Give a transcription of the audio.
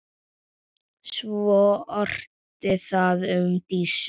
Svo orti það um Dísu.